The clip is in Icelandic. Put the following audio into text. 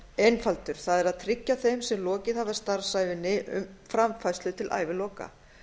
einfaldur það er að tryggja þeim sem lokið hafa starfsævinni framfærslu til æviloka